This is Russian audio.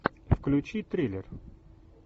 включи триллер